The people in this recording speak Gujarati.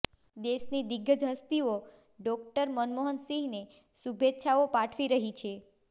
દેશની દિગ્ગજ હસ્તિઓ ડોક્ટર મનમોહન સિંહને શુભેચ્છાઓ પાઠવી રહી છે